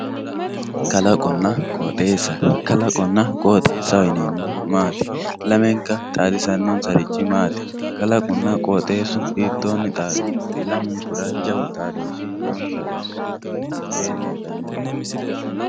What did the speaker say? Kalaqonna qoxesa kalaqona qoxesaho yinemohu maat lamenka xadisanonsarichi maat kalaquna qooxesu hitoni xaadu lamunkura jawu xaadoshi nonsaha ikana miteen hedhanoreet.